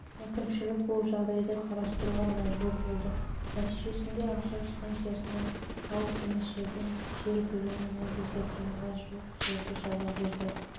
әкімшілік бұл жағдайды қарастыруға мәжбүр болды нәтижесінде ақжар станциясынан алыс емес жерден жер көлемі мың десятинаға жуық бұрын